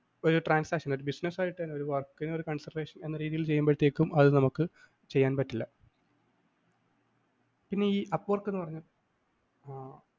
ആ ഒരു transaction ഒരു business ആയിട്ട് ഒരു work ന് ഒരു consideration എന്ന രീതിയില്‍ ചെയ്യുമ്പഴത്തെക്കും അത് നമുക്ക് ചെയ്യാന്‍ പറ്റില്ല പിന്നെ ഈ appork എന്ന് പറഞ്ഞ